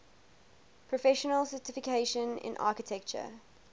professional certification in architecture